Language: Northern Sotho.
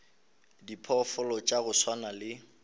diphoofolo tša go swana le